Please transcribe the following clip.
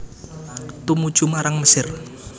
Tumuju marang Mesir